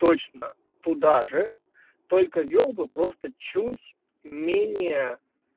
точно туда же только вёл бы просто чуть менее